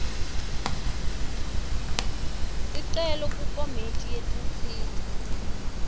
sicelo kukomiti yetinsita